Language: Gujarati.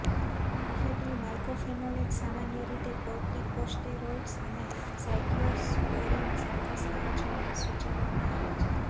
મોફેટિલ માયકોફેનોલેટ સામાન્ય રીતે કોર્ટીકોસ્ટેરોઈડ્સ અને સાઇક્લોસ્પોરીન સાથે સંયોજનમાં સૂચવવામાં આવે છે